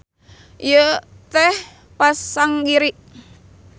Ieu teh pasanggiri.